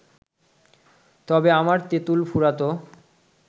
তবে আমার তেঁতুল ফুরোতো